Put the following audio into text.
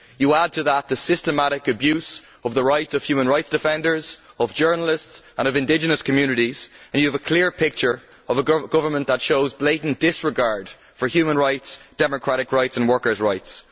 Add to that the systematic abuse of the rights of human rights defenders, of journalists and of indigenous communities, and you have a clear picture of a government that shows blatant disregard for human rights, democratic rights and workers' rights.